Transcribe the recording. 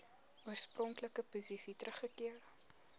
oorspronklike posisie teruggekeer